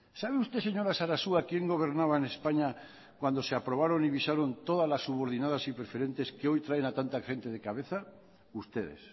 sabe usted señora sarasua quién gobernaba en españa cuando se aprobaron y visaron todas subordinadas y preferentes que hoy traen a tanta gente de cabeza ustedes